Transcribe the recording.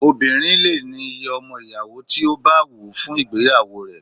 Obinrin lè ní iye ọmọ ìyàwó tí bá wù ú fún ìgbéyàwó rẹ̀